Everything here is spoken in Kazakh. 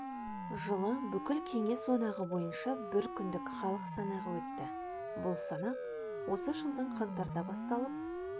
жылы бүкіл кеңес одағы бойынша бір күндік халық санағы өтті бұл санақ осы жылдың қаңтарда басталып